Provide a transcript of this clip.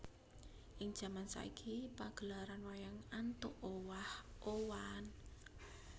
Ing jaman saiki pagelaran wayang antuk owah owahan